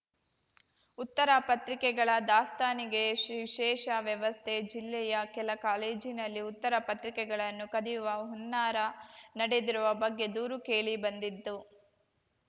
ಉತ್ತರ ಪತ್ರಿಕೆಗಳ ದಾಸ್ತಾನಿಗೆ ಶೇ ಶೇಷ ವ್ಯವಸ್ಥೆ ಜಿಲ್ಲೆಯ ಕೆಲ ಕಾಲೇಜಿನಲ್ಲಿ ಉತ್ತರ ಪತ್ರಿಕೆಗಳನ್ನು ಕದಿಯುವ ಹುನ್ನಾರ ನಡೆದಿರುವ ಬಗ್ಗೆ ದೂರು ಕೇಳಿ ಬಂದಿತ್ತು